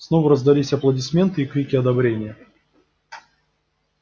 снова раздались аплодисменты и крики одобрения